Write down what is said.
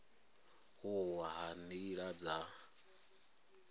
u wa ha nila dza